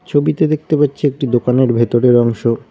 ছবিতে দেখতে পাচ্ছি একটি দোকানের ভেতরের অংশ।